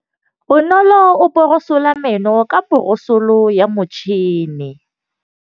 Bonolô o borosola meno ka borosolo ya motšhine.